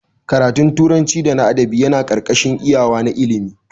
Ƙaratun turanci da na adabi Yana karkashin iyawa na ilimi.